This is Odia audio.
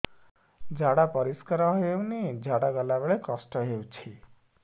ଝାଡା ପରିସ୍କାର ହେଉନି ଝାଡ଼ା ଗଲା ବେଳେ କଷ୍ଟ ହେଉଚି